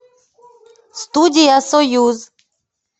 студия союз